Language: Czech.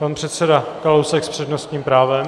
Pan předseda Kalousek s přednostním právem.